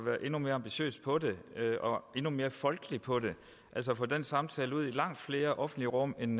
være endnu mere ambitiøse på dem og endnu mere folkelige på dem altså få den samtale ud i langt flere offentlige rum end